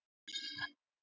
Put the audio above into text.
Margir tala um met ár.